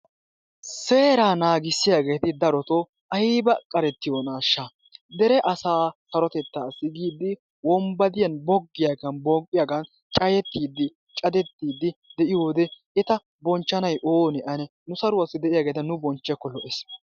Seeraa naagssiyageeti darotoo ayba qarettiyoonasha. Dere asaa sarotettaa naagiidi wombaddiyan boggiyagan bonqqiyagan cayeetiidi cadettidi de'iyoode eta bonchchanay oonee ane nu saruwaasi de'yaageeta nu bonchchiyakko lo'ees.